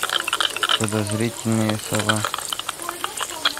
подозрительная сова